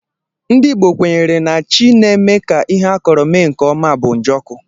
Ndị Igbo kwenyere na chi na-eme ka ihe a kọrọ mee nke ọma bụ njọkụ